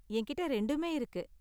என்கிட்ட ரெண்டுமே இருக்கு.